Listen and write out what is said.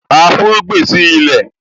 A fúnrúgbìn sí ilẹ̀